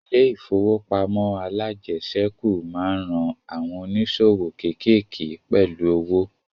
Ilẹ̀ ìfowópamọ́ alájẹsẹ́kù máa ń ran àwọn ònísòwò kékéèké pẹ̀lú owo